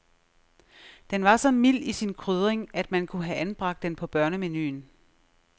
Den var så mild i sin krydring, at man kunne have anbragt den på børnemenuen.